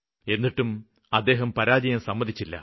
എന്നിട്ടും അദ്ദേഹം പരാജയം സമ്മതിച്ചില്ല